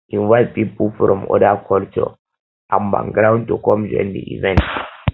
invite pipo from other culture and background to come join di event